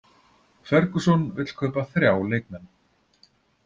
Ferguson vill kaupa þrjá leikmenn